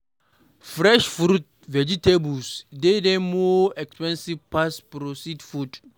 Fresh fruits and vegetables dey de more expensive pass processed food